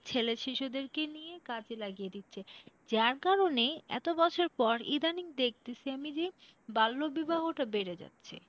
ছেলে শিশুদেরকে নিয়ে কাজে লাগিয়ে দিচ্ছে যার কারণে এত বছর পর ইদানিং দেখতেসি আমি যে বাল্য বিবাহটা বেড়ে যাচ্ছে